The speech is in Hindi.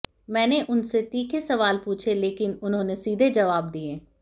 मैंने उनसे तीखे सवाल पूछे लेकिन उन्होंने सीधे जबाव दिए